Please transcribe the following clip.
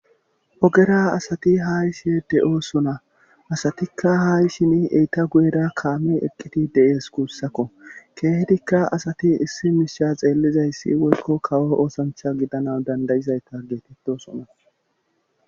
ogera asati haayshe de7o sona asatikka haayshini eyta guyera kaame eqqiti de7ees kuussakko keehedikka asati issi misha xeellizayssi woykko kawo oosancha gidana dandayizayta geetetto sona